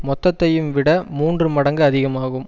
மொத்த ஐயும் விட மூன்று மடங்கு அதிகம் ஆகும்